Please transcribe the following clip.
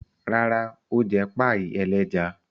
Rárá, ó jẹ páíì ẹlẹ́ja.